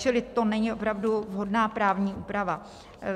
Čili to není opravdu vhodná právní úprava.